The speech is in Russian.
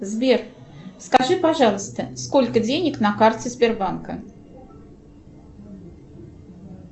сбер скажи пожалуйста сколько денег на карте сбербанка